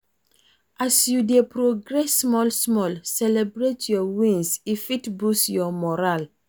As you dey progress small small, celebrate your wins, e fit boost your morale